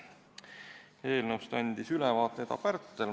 Eelnõust andis ülevaate Eda Pärtel.